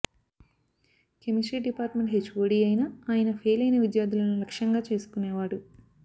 chemistry department HOD అయిన ఆయన fail అయిన విద్యార్థులను లక్ష్యంగా చేసుకునేవాడు